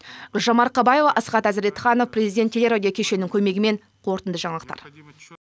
гүлжан марқабаева асхат әзіретханов президент телерадио кешенінің көмегімен қорытынды жаңалықтар